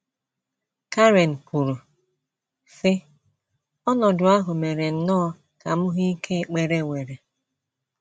Karen kwuru, sị: “ Ọnọdụ ahụ mere nnọọ ka m hụ ike ekpere nwere. ”